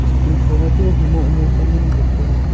school khoma chu wai humoh humoh sa ngan ang kap le.